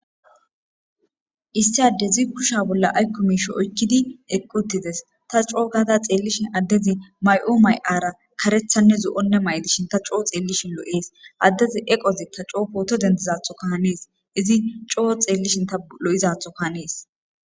issiade zi kusha bolla aykko miisho oykkidi equtides ta coo gaada xeellishin addezi may7o may7ara karethanne zo7onne may7dishin ta coo xeellishin lo7ees addezi eqozikka coo footo dentizatho ka hanees izi coo xeellishin ta lo7izatho kahanees